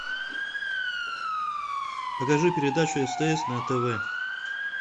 покажи передачу стс на тв